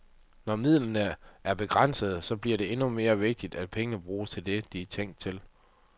Når midlerne er begrænsede, så bliver det endnu mere vigtigt, at pengene bruges til det, de er tænkt til.